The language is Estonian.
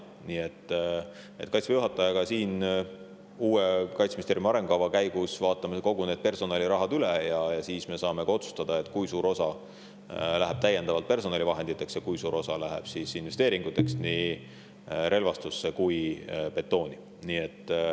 Me vaatame Kaitseväe juhatajaga uue Kaitseministeeriumi arengukavaga seoses personalirahad üle ja siis saame otsustada, kui suur osa läheb täiendavalt personalivahenditeks ja kui suur osa läheb investeeringuteks nii relvastusse kui betooni.